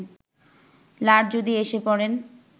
লাট যদি এসে পড়েন